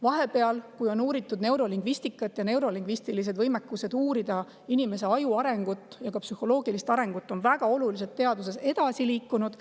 Vahepeal on uuritud neurolingvistikat, võimekus uurida inimese aju arengut ja ka psühholoogilist arengut on väga oluliselt teaduses edasi liikunud.